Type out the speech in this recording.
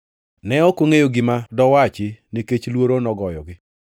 Ne ok ongʼeyo gima dowachi nikech luoro nogoyogi.